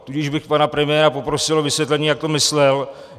Tudíž bych pana premiéra poprosil o vysvětlení, jak to myslel.